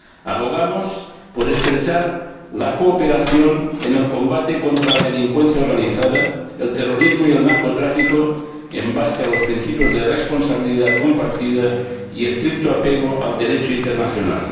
Abogamos por estrechar la cooperación en el combate contra la delincuencia organizada, el terrorismo y el narcotráfico, sobre la base de los principios de responsabilidad compartida y estricto apego al Derecho internacional.